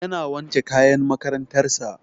Yana wanke kayan makarantar sa